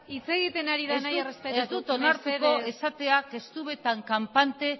hitz egiten ari da mesedez ez dut onartuko esatea que estuve tan campante